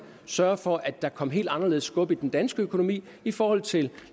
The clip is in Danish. sørge for at der kom helt anderledes skub i den danske økonomi i forhold til